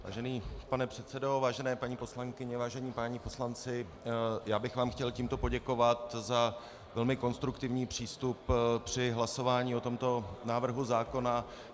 Vážený pane předsedo, vážené paní poslankyně, vážení páni poslanci, já bych vám chtěl tímto poděkovat za velmi konstruktivní přístup při hlasování o tomto návrhu zákona.